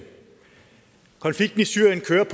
præcisere